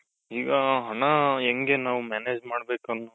ಈಗ ಹಣ ಹೆಂಗೆ ನಾವು manage ಮಾಡ್ಬೇಕು